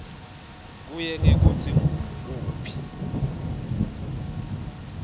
kuye ngekutsi ngukuphi